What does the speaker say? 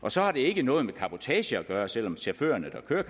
og så har det ikke noget med cabotage at gøre selv om chaufførerne der kører